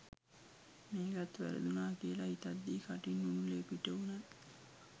මේකත් වැරදුනා කියලා හිතද්දී කටින් උණු ලේ පිටවුනා.